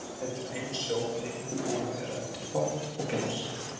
Ein leið til að eima sjó með einföldum búnaði er að nota pott og glas.